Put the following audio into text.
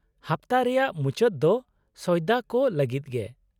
-ᱦᱟᱯᱛᱟ ᱨᱮᱭᱟᱜ ᱢᱩᱪᱟᱹᱫ ᱫᱚ ᱥᱚᱭᱫᱟ ᱠᱚ ᱞᱟᱹᱜᱤᱫ ᱜᱮ᱾